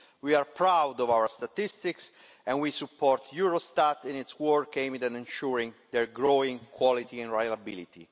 We are proud of our statistics and we support Eurostat in its work in ensuring their growing quality and reliability.